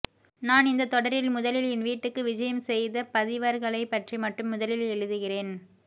நான் இந்தத் தொடரில் முதலில் என் வீட்டுக்கு விஜயம் செய்த பதிவர்களைப்பற்றி மட்டும் முதலில் எழுதுகிறேன்